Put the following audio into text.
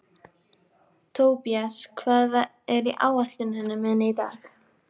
Tobías, hvað er á áætluninni minni í dag?